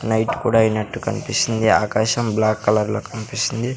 Night కూడా ఐనట్టు కన్పిస్తుంది ఆకాశం బ్లాక్ కలర్ లో కన్పిస్తుంది.